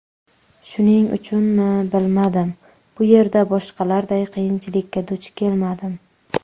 Shuning uchunmi, bilmadim, bu yerda boshqalarday qiyinchilikka duch kelmadim.